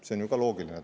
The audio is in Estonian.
See on ju ka loogiline.